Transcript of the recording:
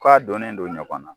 Ko a dɔnnen do ɲɔgɔn na.